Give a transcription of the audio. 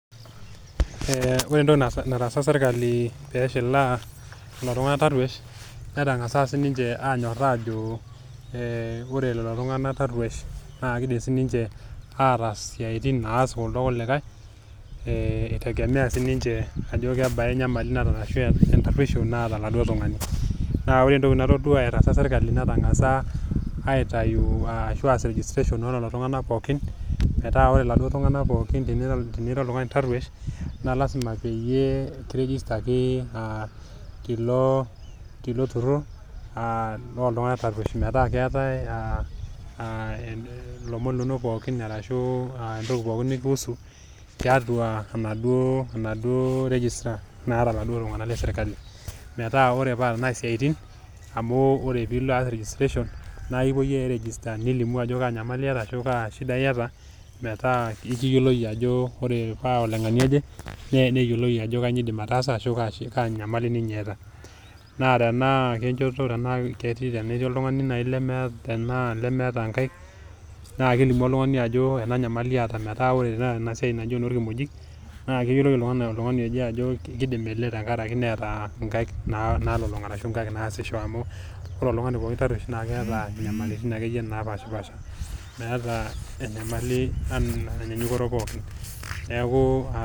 Ee ore entoki nataasa sirkali peshet iladuo tunganak taruosh netangasa sininye anyoraa ajo ore lelo tunganak taruoish ataas isiatin naas kuldo kulikae . Ee itengemea sininche ajo kebaa enyamali naata ashu entaruoisho , naata oladuoo tungani. Naa ore entoki natadua etaasa sirkali , nengasa aitayu ashuaa aas registration olelo tunganak pookin ,metaa ore iladuoo tunganak pookin tenira oltungani taruoish , naa lasima peyie kirigistaki tilo, tilo turur aa loltunganak taruosh. Aa metaa keetae aa ilomon linonok pookin ashuaa entoki pookin ino nikihusu tiatua enaduo enaduo register naata oladuo tunganak le sirkali . Metaa ore tenaa siatin, amu ore pilo aas registration, nilimu ajo kaa nyamali ashu kaa shida iyata , metaa ekiyiolou ajo itaa olengania oje ,neyioloi ajo kainyioo indim ataasa ashu kaa nyamali ninye eeta.